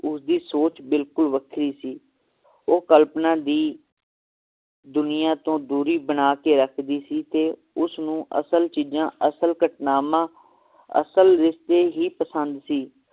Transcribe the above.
ਉਸ ਦੀ ਸੋਚ ਬਿਲਕੁਲ ਵੱਖਰੀ ਸੀ ਉਹ ਕਲਪਨਾ ਦੀ ਦੁਨੀਆਂ ਤੋਂ ਦੂਰੀ ਬਣਾ ਕੇ ਰੱਖਦੀ ਸੀ ਤੇ ਉਸਨੂੰ ਅਸਲ ਚੀਜਾਂ ਅਸਲ ਘਟਨਾਵਾਂ ਅਸਲ ਰਿਸ਼ਤੇ ਹੀ ਪਸੰਦ ਸੀ